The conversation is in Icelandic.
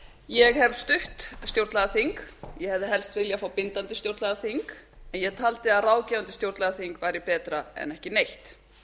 ég hef stutt stjórnlagaþing ég hefði helst við fá bindandi stjórnlagaþing en ég taldi að ráðgefandi stjórnlagaþing væri betra en ekki neitt